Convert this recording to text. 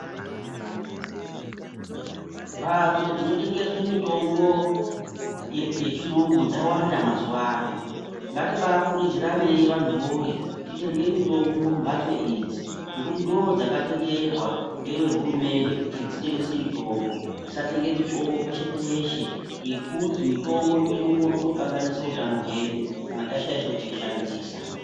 Mbatso dzinotengese mitombo yechiyungu dzawanda mazuvano, ngatibaikurudziranei vantu woye titenge mitombo mumbatso idzi ngekuti ndodzakatenderwa neve hurumende kuti dzitengese mitombo, tisatenge mitombo peshe peshe ngekuti mitombo inogone kutokanganise hutano hwedu kana tashaisha kuishandisa.